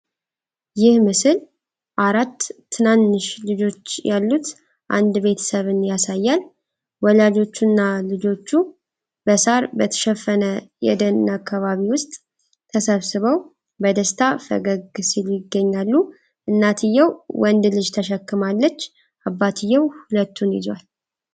ይህ ምስል አራት ትናንሽ ልጆች ያሉት አንድ ቤተሰብን ያሳያል። ወላጆቹና ልጆቹ በሳር በተሸፈነ የደን አካባቢ ውስጥ ተሰብስበው በደስታ ፈገግ ሲሉ ይገኛሉ። እናትየው አንድ ልጅ ተሸክማለች፤ አባትየው ሁለቱን ይዟል።